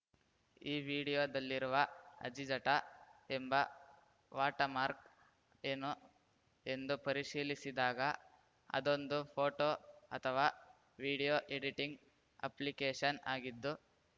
ಈ ವಿಡಿಯೋದಲ್ಲಿರುವ ಆಜ್ಠಿಜಟ ಎಂಬ ವಾಟಮಾರ್ಕ್ ಏನು ಎಂದು ಪರಿಶೀಲಿಸಿದಾಗ ಅದೊಂದು ಫೋಟೋ ಅಥಾವಾ ವಿಡಿಯೋ ಎಡಿಟಿಂಗ್‌ ಅಪ್ಲಿಕೇಶನ್‌ ಆಗಿದ್ದು